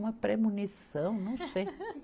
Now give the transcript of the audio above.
Uma premonição, não sei.